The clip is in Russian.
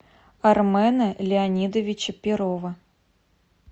армена леонидовича перова